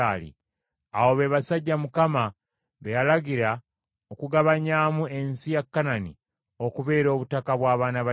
Abo be basajja Mukama be yalagira okugabanyaamu ensi ya Kanani okubeera obutaka bw’abaana ba Isirayiri.